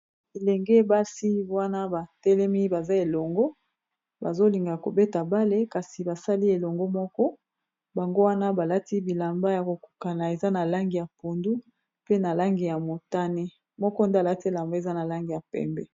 Elenge ebasi wana batelemi baza elongo bazolinga kobeta bale kasi basali elongo moko, bango wana balati bilamba ya kokukana eza na langi ya pondu pe na langi ya motane moko nde alati elamba eza na langi ya pembe.